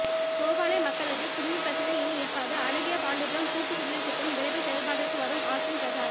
தோவாளை மக்களுக்கு குடிநீர் பிரச்னை இனி இருக்காது அழகியபாண்டியபுரம் கூட்டுக்குடிநீர் திட்டம் விரைவில் செயல்பாட்டிற்கு வரும் ஆஸ்டின் பிரசாரம்